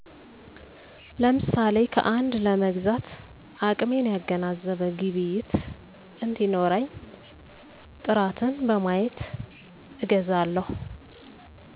ለምሳሌ ከአንድ ለመግዛት አቅሜን ያገናዘበ ግብይት እንዲኖረኝ ጥራትን በማየት አገዛለሁ